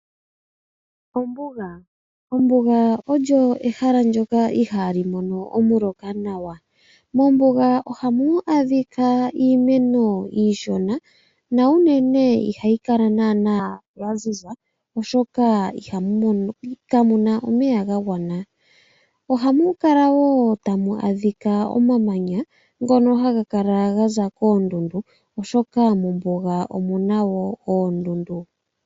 Ombuga. Ombuga olyo ehala ndyoka ihaali mono omuloka nawa. Mombuga ohamu adhika iimeno iishona, na unene ihayi kala naana ya ziza oshoka kamu na omeya ga gwana. Ohamu kala wo tamu adhika omamanya ngono haga kala ga za koondundu, oshoka mombuga omu na wo oondundu.